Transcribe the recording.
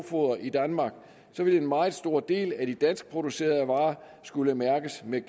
foder i danmark vil en meget stor del af de danskproducerede varer skulle mærkes med